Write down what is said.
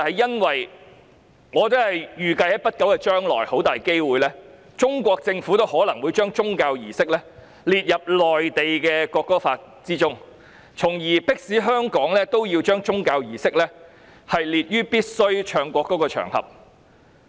因為我預計在不久將來，中國政府很大機會將宗教儀式列為內地《國歌法》中須奏唱國歌的場合，從而迫使香港同樣把宗教儀式列入附表3。